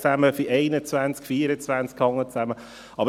Es wurde schon gesagt, dass die Artikel 3a, 21 und 24 zusammenhängen.